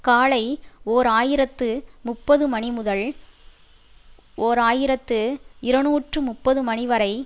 காலை ஓர் ஆயிரத்து முப்பது மணி முதல் ஓர் ஆயிரத்து இருநூற்றி முப்பது மணி வரை